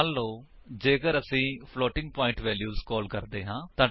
ਮੰਨਲੋ ਜੇਕਰ ਅਸੀ ਫਲੋਟਿੰਗ ਪਵਾਇੰਟ ਵੇਲਿਊਸ ਕਾਲ ਕਰਦੇ ਹਾਂ